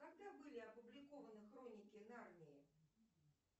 когда были опубликованы хроники нарнии